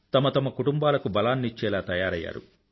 తమ తమ కుటుంబాలకు బలాన్నిచ్చేలా తయారయ్యారు